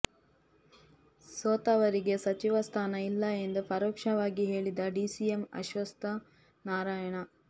ಸೋತವರಿಗೆ ಸಚಿವ ಸ್ಥಾನ ಇಲ್ಲ ಎಂದು ಪರೋಕ್ಷವಾಗಿ ಹೇಳಿದ ಡಿಸಿಎಂ ಅಶ್ವತ್ಥ ನಾರಾಯಣ